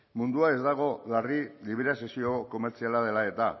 mundua ez dago larri liberalizazio komertziala dela eta